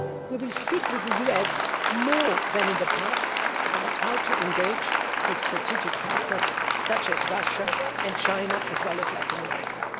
We will speak with the US more than in the past about how to engage with strategic partners such as Russia and China, as well as Latin America.